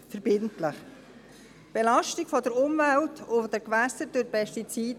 Es besteht eine Belastung der Umwelt und der Gewässer durch Pestizide.